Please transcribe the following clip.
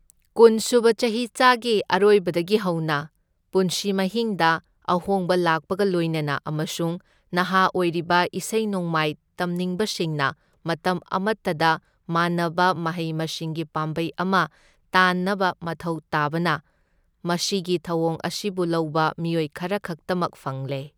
ꯀꯨꯟ ꯁꯨꯕ ꯆꯍꯤꯆꯥꯒꯤ ꯑꯔꯣꯏꯕꯗꯒꯤ ꯍꯧꯅ, ꯄꯨꯟꯁꯤ ꯃꯍꯤꯡꯗ ꯑꯍꯣꯡꯕ ꯂꯥꯛꯄꯒ ꯂꯣꯏꯅꯅ ꯑꯃꯁꯨꯡ ꯅꯍꯥ ꯑꯣꯏꯔꯤꯕ ꯏꯁꯩ ꯅꯣꯡꯃꯥꯏ ꯇꯝꯅꯤꯡꯕꯁꯤꯡꯅ ꯃꯇꯝ ꯑꯃꯇꯗ ꯃꯥꯟꯅꯕ ꯃꯍꯩ ꯃꯁꯤꯡꯒꯤ ꯄꯥꯝꯕꯩ ꯑꯃ ꯇꯥꯟꯅꯕ ꯃꯊꯧ ꯇꯥꯕꯅ, ꯃꯁꯤꯒꯤ ꯊꯧꯑꯣꯡ ꯑꯁꯤꯕꯨ ꯂꯧꯕ ꯃꯤꯑꯣꯏ ꯈꯔꯈꯛꯇꯃꯛ ꯐꯪꯂꯦ꯫